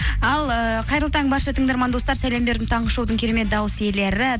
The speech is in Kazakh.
ал ыыы қайырлы таң барша тыңдарман достар сәлем бердім таңғы шоудың керемет дауыс иелері